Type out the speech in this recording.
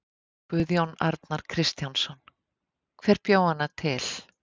Guðjón Arnar Kristjánsson: Hver bjó hana til?